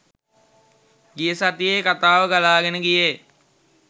ගිය සතියේ කතාව ගලාගෙන ගියේ.